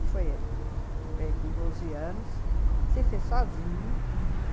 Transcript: E foi ele, que veio com doze anos, se fez sozinho.